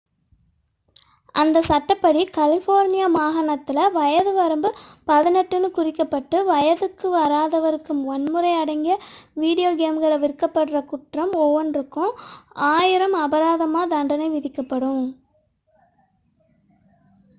"அந்த சட்டப்படி கலிஃபோர்னியா மாகாணத்தில் வயது வரம்பு "18" என்று குறிக்கப்பட்டு வயதுக்கு வராதவருக்கு வன்முறை அடங்கிய வீடியோ கேம்கள் விற்கப்படும் குற்றம் ஒவ்வொன்றுக்கும் $1000 அபராதத் தண்டனை விதிக்கப்படும்.